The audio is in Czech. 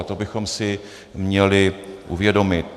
A to bychom si měli uvědomit.